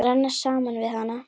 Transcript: Að renna saman við hana.